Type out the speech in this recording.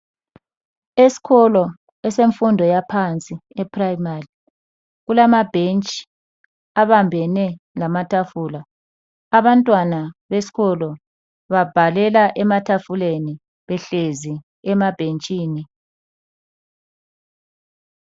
Esikolo esemfundo yaphansi e-Primary, kulamabhentshi abambene lamatafula. Abantwana besikolo babhalela ematafuleni behlezi emabhentshini.